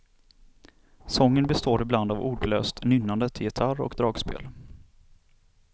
Sången består ibland av ordlöst nynnande till gitarr och dragspel.